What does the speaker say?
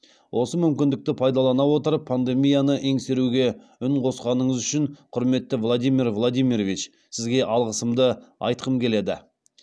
осы мүмкіндікті пайдалана отырып пандемияны еңсеруге үн қосқаныңыз үшін құрметті владимир владимирович сізге алғысымды айтқым келеді